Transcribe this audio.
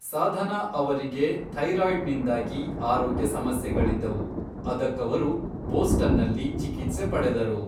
ಸಾಧನಾ ಅವರಿಗೆ ಥೈರಾಯ್ಡ್ನಿಂದಾಗಿ ಆರೋಗ್ಯ ಸಮಸ್ಯೆಗಳಿದ್ದವು, ಅದಕ್ಕವರು ಬೋಸ್ಟನ್ನಲ್ಲಿ ಚಿಕಿತ್ಸೆ ಪಡೆದರು.